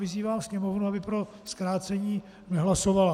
Vyzývám Sněmovnu, aby pro zkrácení nehlasovala.